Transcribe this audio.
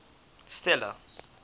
stella